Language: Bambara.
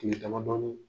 Kile damadɔni